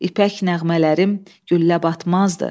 İpək nəğmələrim güllə batmazdı.